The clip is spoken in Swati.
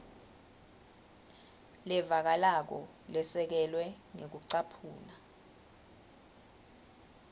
levakalako lesekelwe ngekucaphuna